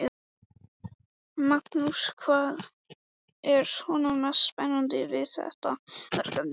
Magnús: Hvað er svona mest spennandi við þetta verkefni?